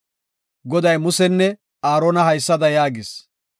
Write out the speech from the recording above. Goday Musenne Aarona haysada yaagis;